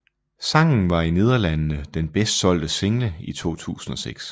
Sangen var i Nederlandene den bedst solgte single i 2006